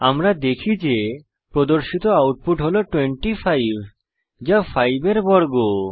আমরা দেখি যে প্রদর্শিত আউটপুট হল 25 যা 5 এর বর্গ